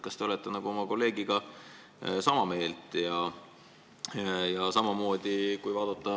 Kas te olete oma kolleegiga sama meelt?